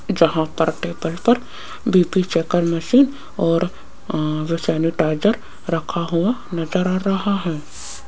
जहां पर टेबल पर बी_पी चेकर मशीन और सैनिटाइजर रखा हुआ नजर आ रहा है।